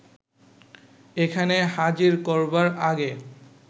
এখানে হাজির করবার আগে